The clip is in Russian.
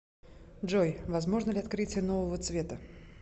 джой возможно ли открытие нового цвета